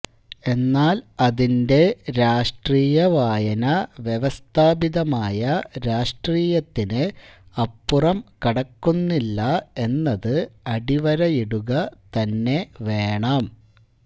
എന്നാല് അതിന്റെ രാഷ്രീയ വായന വ്യവസ്ഥാപിതമായ രാഷ്ട്രീയത്തിന് അപ്പുറം കടക്കുന്നില്ല എന്നത് അടിവരയിടുക തന്നെ വേണം